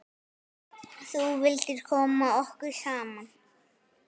Þú vildir koma okkur saman.